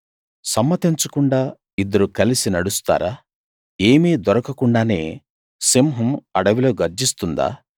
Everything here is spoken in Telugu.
సమ్మతించకుండా ఇద్దరు కలిసి నడుస్తారా ఏమీ దొరకకుండానే సింహం అడవిలో గర్జిస్తుందా